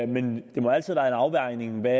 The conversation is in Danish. men det må altid være en afvejning af hvad